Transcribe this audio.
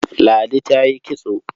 Ladi ta yi kitso.